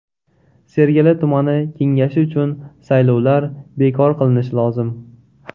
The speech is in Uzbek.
Sergeli tumani kengashi uchun saylovlar bekor qilinishi lozim.